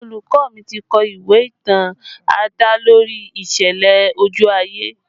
Olùkọ́ mi ti kọ ìwé ìtàn adalori ìṣẹ̀lẹ̀ ojú ayé